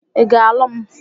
Ị ga alụ m?